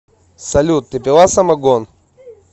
салют ты пила самогон